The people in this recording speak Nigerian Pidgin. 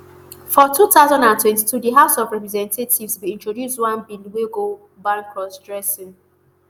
for two thousand and twenty-two di house of representatives bin introduce one bill wey go ban crossdressing.